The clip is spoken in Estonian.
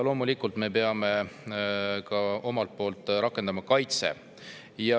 Loomulikult me peame omalt poolt rakendama kaitset.